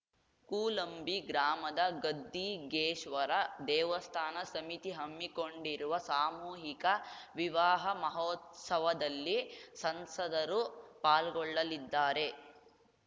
ಕೂಲಂಬಿ ಗ್ರಾಮದ ಗದ್ದಿಗೇಶ್ವರ ದೇವಸ್ಥಾನ ಸಮಿತಿ ಹಮ್ಮಿಕೊಂಡಿರುವ ಸಾಮೂಹಿಕ ವಿವಾಹ ಮಹೋತ್ಸವದಲ್ಲಿ ಸಂಸದರು ಪಾಲ್ಗೊಳ್ಳಲಿದ್ದಾರೆ